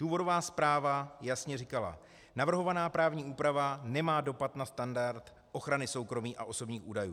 Důvodová zpráva jasně říkala: navrhovaná právní úprava nemá dopad na standard ochrany soukromí a osobních údajů.